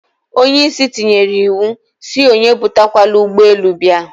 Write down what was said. Onye isi tinyere iwu, si onye ebute kwana ugbe elu bia